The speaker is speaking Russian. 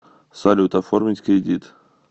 салют оформить кредит